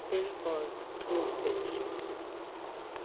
fimm fái tvo hver